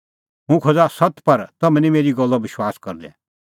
हुंह खोज़ा सत्त पर तम्हैं निं मेरी गल्लो विश्वास करदै